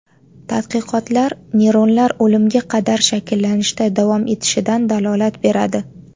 Tadqiqotlar neyronlar o‘limga qadar shakllanishda davom etishidan dalolat beradi.